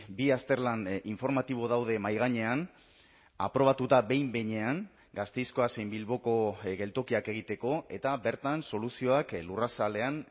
bi azterlan informatibo daude mahai gainean aprobatuta behin behinean gasteizkoa zein bilboko geltokiak egiteko eta bertan soluzioak lurrazalean